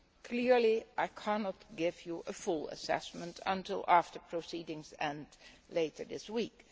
Clearly I cannot give you a full assessment until after proceedings are complete, later this week.